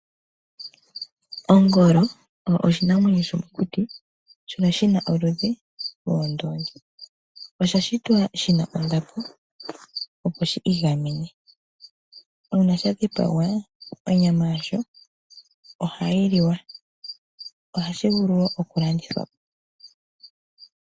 Ongolo oyo oshinamwenyo shomokuti shono shi na oludhi lwoondoongi. Osha shitwa shi na ondapo opo shi igamene. Uuna sha dhipagwa onyama yasho ohayi liwa. Ohashi vulu wo okulandithwa po.